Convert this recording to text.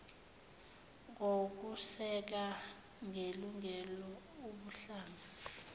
ngokuseka ngelungelo ubuhlanga